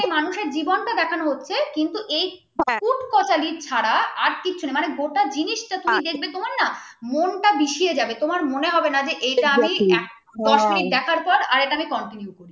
কিন্তু serial মধ্যে মানুষের জীবনটা দেখানো হচ্ছে কিন্তু হ্যাঁ কুট কাচালি ছাড়া আর কিছু নেই মানে গোটা জিনিসটা তুই দেখবে তোমার না মনটা বিষিয়ে যাবে তোমার মনে হবে না এটা আমি দস মিনিট দেখার পর এটা আমি continue করি